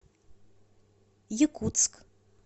якутск